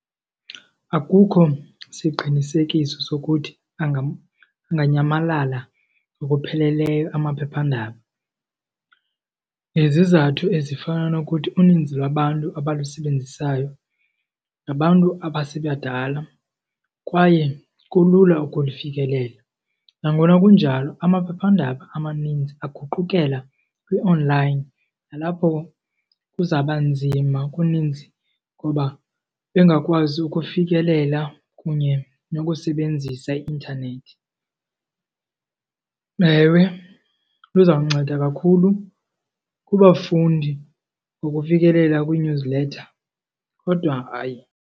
Akukho siqinisekiso sokuthi anganyamalala ngokupheleleyo amaphephandaba ngezizathu ezifana nokuthi uninzi lwabantu abalusebenzisayo ngabantu abasebebadala kwaye kulula ukulifikelela. Nangona kunjalo amaphephandaba amaninzi aguqukela kwi-online nalapho kuzawuba nzima kuninzi ngoba bengakwazi ukufikelela kunye nokusebenzisa i-intanethi. Ewe, lizawunceda kakhulu kubafundi ngokufikelela kwii-newsletter kodwa, hayi.